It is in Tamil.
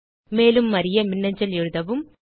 மேலும் அறிய மின்னஞ்சல் எழுதவும்